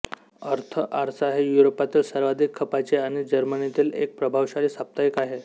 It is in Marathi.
अर्थ आरसा हे युरोपातील सर्वाधिक खपाचे आणि जर्मनीतील एक प्रभावशाली साप्ताहिक आहे